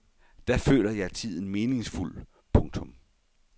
Da føler jeg tiden meningsfuld. punktum